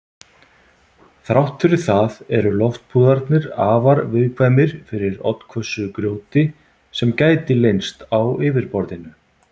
Þrátt fyrir það eru loftpúðarnir afar viðkvæmir fyrir oddhvössu grjóti sem gæti leynst á yfirborðinu.